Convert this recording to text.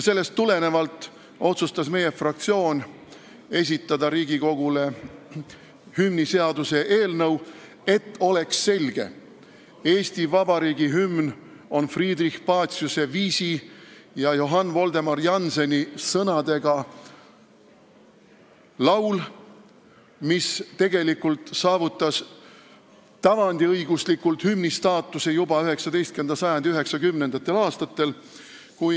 Sellest tulenevalt otsustas meie fraktsioon esitada Riigikogule hümniseaduse eelnõu, et asi oleks selge: Eesti Vabariigi hümn on Friedrich Paciuse viisi ja Johann Voldemar Jannseni sõnadega laul, mis saavutas tavandiõiguslikult hümni staatuse juba 19. sajandi 90. aastatel.